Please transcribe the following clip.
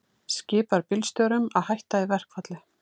Skipar bílstjórum að hætta í verkfalli